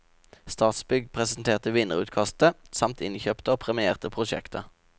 Statsbygg presenterte vinnerutkastet, samt innkjøpte og premierte prosjekter.